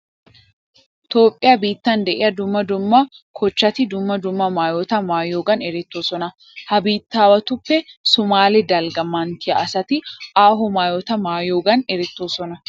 Toophphiya biittan de'iya dumma dumma kochchati dumma dumma maayota maayiyogan erettoosona. Ha biittaawatuppe soomaale dalgga manttiya asati aaho maayota maayiyogan erettoosona.